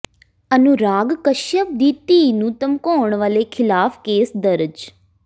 ਅਨੁਰਾਗ ਕਸ਼ਯਪ ਦੀ ਧੀ ਨੂੰ ਧਮਕਾਉਣ ਵਾਲੇ ਖ਼ਿਲਾਫ਼ ਕੇਸ ਦਰਜ